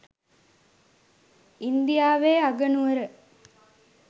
ඉන්දියාවේ අගනුවර